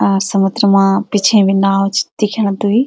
अ समुद्र मा पिछे बि नाव च दिख्यां द्वी।